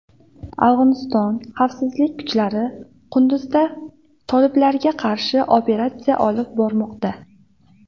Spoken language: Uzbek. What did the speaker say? Afg‘oniston xavfsizlik kuchlari Qunduzda toliblarga qarshi operatsiya olib bormoqda.